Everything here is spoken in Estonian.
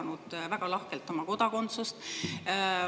Venemaa on jaganud väga lahkelt oma kodakondsust.